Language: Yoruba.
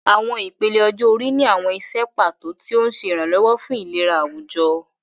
Àwọn ìpele ọjọ́ orí ní àwọn iṣẹ́ pàtó, tí ó ń ṣe ìrànlọ́wọ́ fún ìlera àwùjọ.